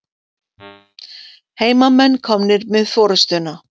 Heimamenn komnir með forystuna.